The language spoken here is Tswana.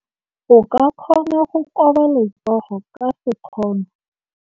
O ka kgona go koba letsogo ka sekgono.